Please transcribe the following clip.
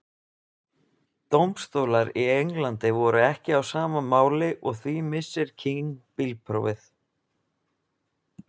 Dómstólar í Englandi voru ekki á sama máli og því missir King bílprófið.